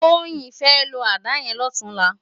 Toyin fè ló àdá yèn lòtúnlá